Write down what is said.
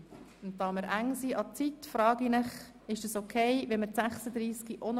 Weil wir uns in einem zeitlichen Engpass befinden, frage ich Sie, ob Sie damit einverstanden sind.